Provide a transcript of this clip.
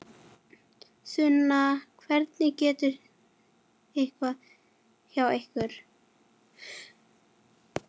Sunna: Hvernig gengur hjá ykkur?